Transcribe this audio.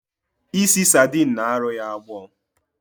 Ịsị sardine na arụ ya agbọ